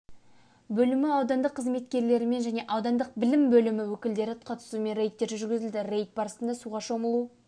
бөлімі аудандық қызметкерлерімен және аудандық білім бөлімі өкілдері қатысуымен рейдтер жүргізіледі рейд барысында суға шомылу